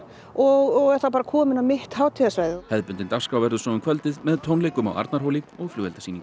og er þá komið á mitt hátíðarsvæðið hefðbundin dagskrá verður svo um kvöldið með tónleikum á Arnarhóli og flugeldasýningu